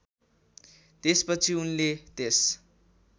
त्यसपछि उनले त्यस